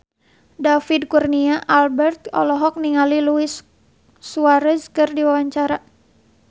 David Kurnia Albert olohok ningali Luis Suarez keur diwawancara